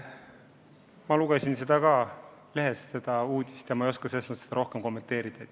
Ma lugesin ka lehest seda uudist, aga ei oska seda kommenteerida.